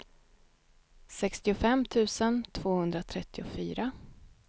sextiofem tusen tvåhundratrettiofyra